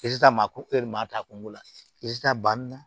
maa ko e dun b'a ta kun la i ta banni na